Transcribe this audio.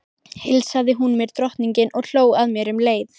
Heilsaði hún mér drottningin og hló að mér um leið